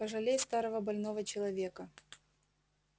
пожалей старого больного человека